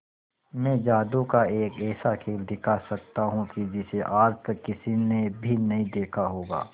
मैं जादू का एक ऐसा खेल दिखा सकता हूं कि जिसे आज तक किसी ने भी नहीं देखा होगा